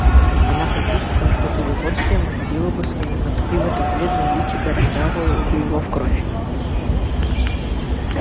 она почувствовала что с удовольствием вонзила бы свои ноготки в это бледное личико и расцарапала бы его в кровь